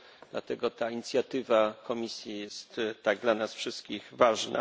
Dlatego ta inicjatywa Komisji jest tak dla nas wszystkich ważna.